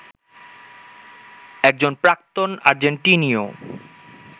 একজন প্রাক্তন আর্জেন্টিনীয়